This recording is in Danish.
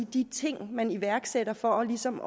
de ting man iværksætter for ligesom